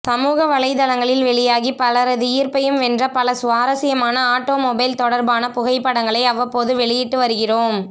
சமூக வலைதளங்களில் வெளியாகி பலரது ஈர்ப்பையும் வென்ற பல சுவாரஸ்யமான ஆட்டோமொபைல் தொடர்பான புகைப்படங்களை அவ்வப்போது வெளியிட்டு வருகிறோம்